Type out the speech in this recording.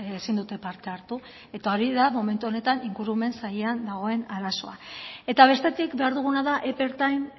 ezin dute parte hartu eta hori da momentu honetan ingurumen sailean dagoen arazoa eta bestetik behar duguna da epe ertain